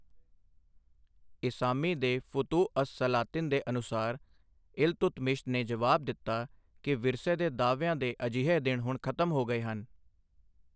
ਇਸਾਮੀ ਦੇ ਫੁਤੁਹ ਅਸ ਸਲਾਤਿਨ ਦੇ ਅਨੁਸਾਰ, ਇਲਤੁਤਮਿਸ਼ ਨੇ ਜਵਾਬ ਦਿੱਤਾ ਕਿ ਵਿਰਸੇ ਦੇ ਦਾਅਵਿਆਂ ਦੇ ਅਜਿਹੇ ਦਿਨ ਹੁਣ ਖ਼ਤਮ ਹੋ ਗਏ ਹਨ।